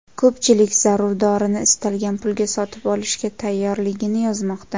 Ko‘pchilik zarur dorini istalgan pulga sotib olishga tayyorligini yozmoqda.